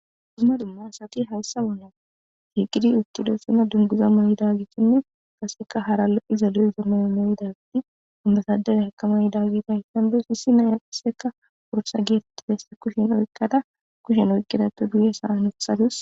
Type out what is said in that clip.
Dumma dumma asati hayssamonna shiiqidi uttido sina dunguza may'idagissinne kasseka hara lo'i zalu'i zammaya may'idati ammasadele heka may dagitahyssandes hissi naya asseka wursa geeteti desse kushen oykkada kushen oykkidato duye sa'anothadus.